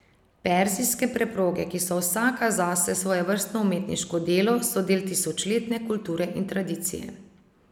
Perzijske preproge, ki so vsaka zase svojevrstno umetniško delo, so del tisočletne kulture in tradicije.